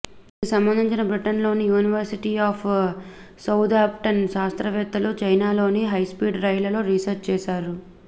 దీనికి సంబంధించి బ్రిటన్ లోని యూనివర్సిటీ ఆఫ్ సౌథాంప్టన్ శాస్త్రవేత్తలు చైనాలోని హైస్పీడ్ రైళ్లలో రీసెర్చ్ చేశారు